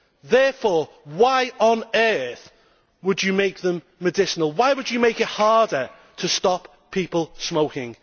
Therefore, why on earth would you make them medicinal? Why would you make it harder to stop people smoking?